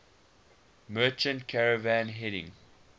merchant caravan heading